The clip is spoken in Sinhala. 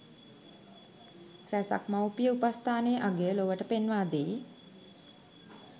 රැසක් මවුපිය උපස්ථානයේ අගය ලොවට පෙන්වා දෙයි.